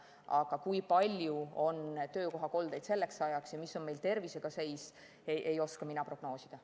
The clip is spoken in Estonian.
Aga kui palju on selleks ajaks töökohakoldeid ja mis seis on meil tervisega, ei oska mina prognoosida.